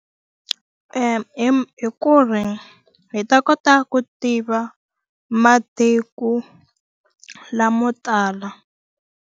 hi ku ri hi ta kota ku tiva matiko lamo tala.